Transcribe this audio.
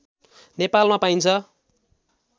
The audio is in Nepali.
नेपालमा पाइन्छ